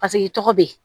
Paseke i tɔgɔ be ye